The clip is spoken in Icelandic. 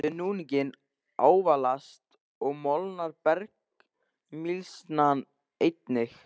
Við núninginn ávalast og molnar bergmylsnan einnig.